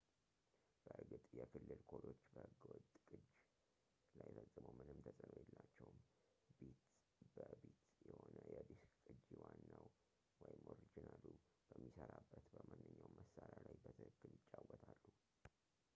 በእርግጥ፣ የክልል ኮዶች በሕገ-ወጥ ቅጅ ላይ ፈጽሞ ምንም ተጽዕኖ የላቸውም፤ ቢት-በ-ቢት የሆነ የዲስክ ቅጂ ዋናው ኦሪጂናሉ በሚሠራበት በማንኛውም መሣሪያ ላይ በትክክል ይጫወታል